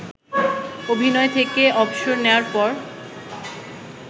অভিনয় থেকে অবসর নেয়ার পর